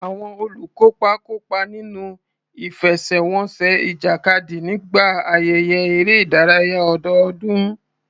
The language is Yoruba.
Àwọn olùkópa kópa nínú ìfẹsẹ̀wọnsẹ̀ ìjàkadì nígbà ayẹyẹ eré ìdárayá ọdọọdún.